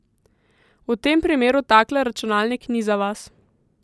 V tem primeru takle računalnik ni za vas.